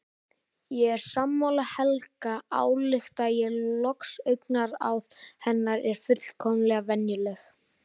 Ég er sammála Helga, álykta ég loks, augnaráð hennar er fullkomlega venjulegt.